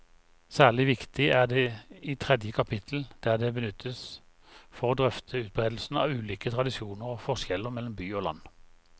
Særlig viktig er det i tredje kapittel, der det benyttes for å drøfte utbredelsen av ulike tradisjoner og forskjeller mellom by og land.